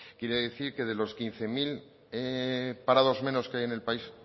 quiere decir que de los quince mil parados menos que hay en el país